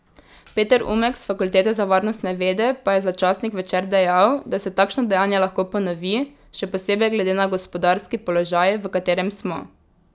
Peter Umek s Fakultete za varnostne vede pa je za časnik Večer dejal, da se takšno dejanje lahko ponovi, še posebej glede na gospodarski položaj, v katerem smo.